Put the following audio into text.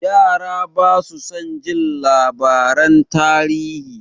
Yara basu son jin labaran tarihi.